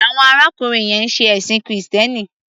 Awon arákùnrin yẹn ń ṣe ẹ̀ṣìn krìstẹ́nì.